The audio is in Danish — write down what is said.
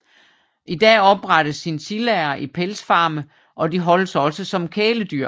I dag opdrættes chinchillaer i pelsfarme og de holdes også som kæledyr